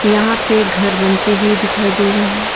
यहां पे घर बनते हुए दिखाई दे रहे हैं।